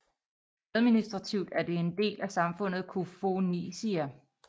Administrativt er det en del af samfundet Koufonisia